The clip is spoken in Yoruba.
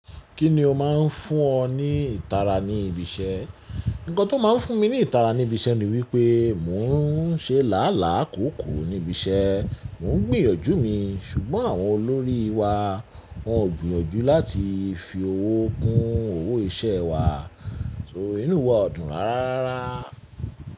Kí ni o máa ń fún ọ ní ìtara ní ibi iṣẹ́? Ǹkan tó máa ń fún mi ní ìtara ní ibi iṣẹ́ ni wípé mò ń ṣe làálàá kòókòó ní ibi iṣẹ́. Mò ń gbìyànjú mi ṣùgbọ́n àwọn olórí wa wọn ò gbìyànjú láti fi owó kun owó iṣẹ́ wa. So inú wa o dùn rárá rara.